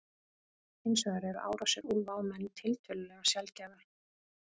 Hins vegar eru árásir úlfa á menn tiltölulega sjaldgæfar.